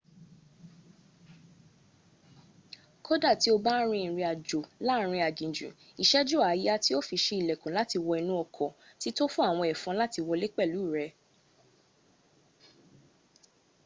kódà tí o bá ń ri ìrìn àjò láàárin aginjù ìṣẹ́jú àáyá tí o fi ṣí ilẹ̀kùn láti wọ inú ọkọ̀ ti tó fún àwọn ẹ̀fọn láti wọlé pẹ̀lú rẹ